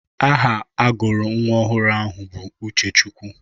Aha agụrụ nwa ọhụrụ ahụ bụ Uchechukwu.